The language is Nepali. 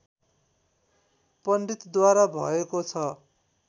पण्डितद्वारा भएको छ